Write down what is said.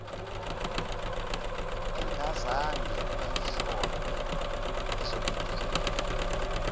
engazange ihlolelwe ezokuphepha